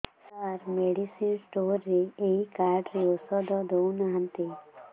ସାର medicine store ରେ ଏଇ card ରେ ଔଷଧ ଦଉନାହାନ୍ତି